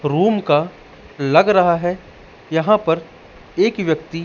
Room का लग रहा हैं। यहां पर एक व्यक्ति--